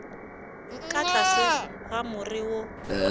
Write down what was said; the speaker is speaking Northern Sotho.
ka tlase ga more wo